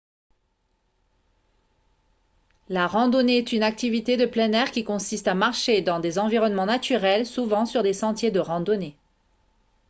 la randonnée est une activité de plein air qui consiste à marcher dans des environnements naturels souvent sur des sentiers de randonnée